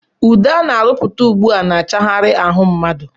Ude ana arụputa ugbua na- achaghari ahụ mmadụ.